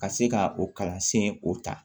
Ka se ka o kalansen o ta